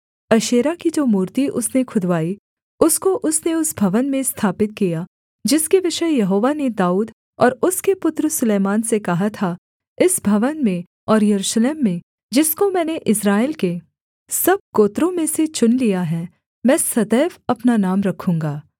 अशेरा की जो मूर्ति उसने खुदवाई उसको उसने उस भवन में स्थापित किया जिसके विषय यहोवा ने दाऊद और उसके पुत्र सुलैमान से कहा था इस भवन में और यरूशलेम में जिसको मैंने इस्राएल के सब गोत्रों में से चुन लिया है मैं सदैव अपना नाम रखूँगा